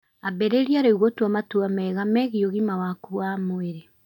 Ambĩrĩrie rĩu gũtua matua mega megiĩ ũgima waku wa mwĩrĩ.